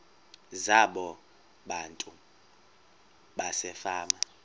zabo abantu basefama